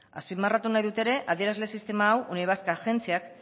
azpimarratu nahi dut ere adierazle sistema hau unibasq agentziak